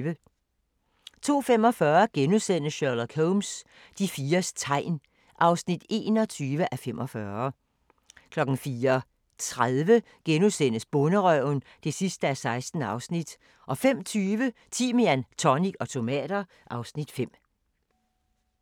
02:45: Sherlock Holmes: De fires tegn (21:45)* 04:30: Bonderøven (16:16)* 05:20: Timian, tonic og tomater (Afs. 5)